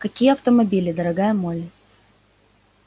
какие автомобили дорогая молли